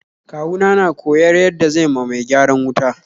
Kawu na na koyar yada zai ma mai gyaran wuta